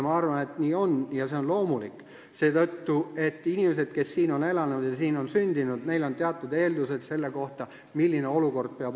Ma arvan, et nii on ja see on loomulik, seetõttu, et inimestel, kes on siin sündinud ja elanud, on teatud eeldused selle suhtes, milline peab olukord olema.